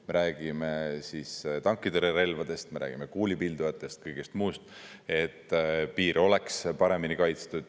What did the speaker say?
Me räägime tankitõrjerelvadest, me räägime kuulipildujatest, kõigest muust, et piir oleks paremini kaitstud.